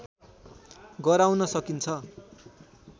गराउन सकिन्छ